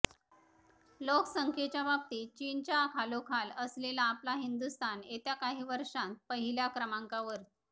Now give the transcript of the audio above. लोकसंख्येच्या बाबतीत चीनच्या खालोखाल असलेला आपला हिंदुस्थान येत्या काही वर्षांत पहिल्या क्रमांकावर